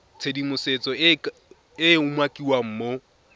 tshedimosetso e e umakiwang mo